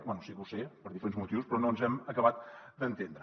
bé sí que ho sé per diferents motius però no ens hem acabat d’entendre